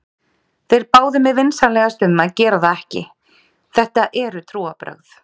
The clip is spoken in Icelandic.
Þeir báðu mig vinsamlegast um að gera það ekki, þetta eru trúarbrögð.